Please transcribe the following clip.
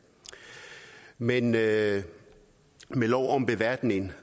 men med lov om beværtning